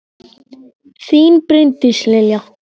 Þín, Bryndís Lilja.